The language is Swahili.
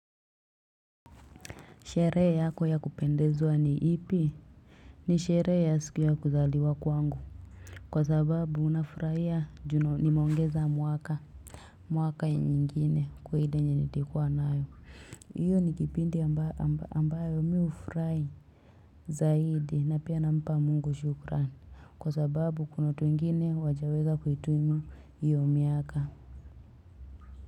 Sherehe yako ya kupendezwa ni ipi? Ni sherehe ya siku ya kuzaliwa kwangu. Kwa sababu nafurahia ju nimeongeza mwaka. Mwaka nyingine kwa ile yenye nilikuwa nayo. Hiyo ni kipindi ambayo mi hufurahi zaidi na pia nampa Mungu shukrani. Kwa sababu kuna watu wengine hawajaweza kuhitimu hiyo miaka.